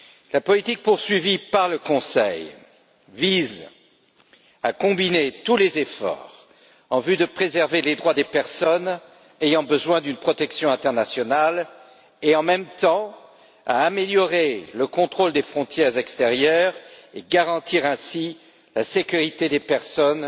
La politique poursuivie par le Conseil vise à combiner tous les efforts en vue de préserver les droits des personnes ayant besoin d'une protection internationale et, en même temps, à améliorer le contrôle des frontières extérieures et garantir ainsi la sécurité des personnes